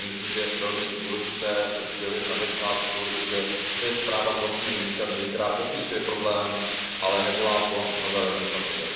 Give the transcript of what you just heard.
To je myslím, že velmi důležité sdělit na začátku, že to je zpráva z vlastní iniciativy, která popisuje problém, ale nevolá po nové legislativě.